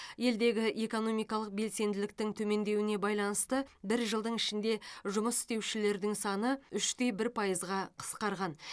елдегі экономикалық белсенділіктің төмендеуіне байланысты бір жылдың ішінде жұмыс істеушілердің саны үш те бір пайызға қысқарған